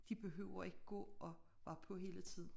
De behøver ikke gå og være på hele tiden